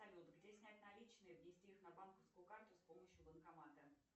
салют где снять наличные внести их на банковскую карту с помощью банкомата